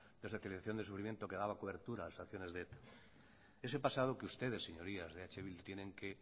de la socialización del sufrimiento que daba cobertura a las acciones de eta ese pasado que ustedes señorías de eh bildu tienen que